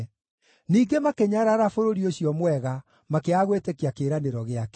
Ningĩ makĩnyarara bũrũri ũcio mwega, makĩaga gwĩtĩkia kĩĩranĩro gĩake.